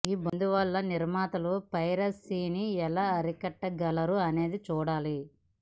ఈ బంద్ వల్ల నిర్మాతలు పైరసీని ఎలా అరికట్టగలరు అనేది చూడాలి